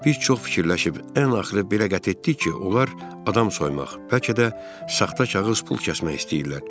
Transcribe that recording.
Biz çox fikirləşib ən axırı belə qət etdik ki, onlar adam soymaq, bəlkə də saxta kağız pul kəsmək istəyirlər.